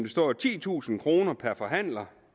står titusind kroner per forhandler